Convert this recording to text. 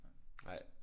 Nej